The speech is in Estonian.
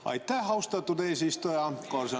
Aitäh, austatud eesistuja!